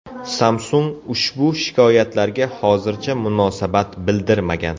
Samsung ushbu shikoyatlarga hozircha munosabat bildirmagan.